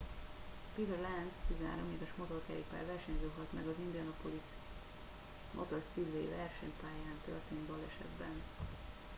peter lenz 13 éves motorkerékpár versenyző halt meg az indianapolis motor speedway versenypályán történt balesetben